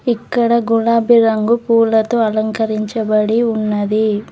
ఇక్కడ గులాబీ రంగు పూలతో అలంకరించబడి ఉన్నది.